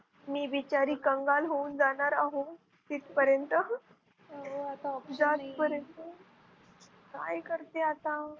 मी बिचारी कंगाल होऊन जाणार आहोत तिथपर्यंत जात पर्यंत. काय करते आता.